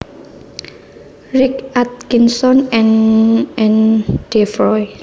Rick Atkinson and Ann Devroy